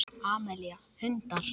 Amelía: Hundar.